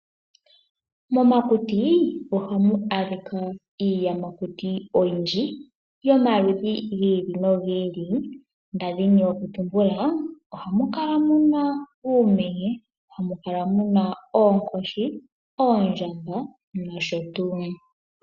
Momakuti ohamu adhika iiyamakuti oyindji yomaludhi gi ili nogi ili, ndadhini oku tumbula ohamu kala muna uumenye, oonkoshi, oondjamba noshotu.